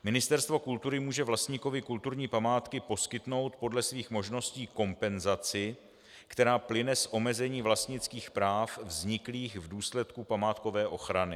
Ministerstvo kultury může vlastníkovi kulturní památky poskytnout podle svých možností kompenzaci, která plyne z omezení vlastnických práv vzniklých v důsledku památkové ochrany.